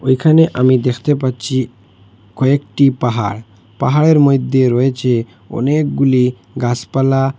এখানে আমি দেখতে পাচ্ছি কয়েকটি পাহাড় পাহাড়ের মইদ্যে রয়েছে অনেকগুলি গাসপালা।